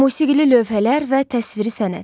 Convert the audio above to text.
Musiqili lövhələr və təsviri sənət.